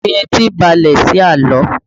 Fi etí balẹ̀ sí àlọ́!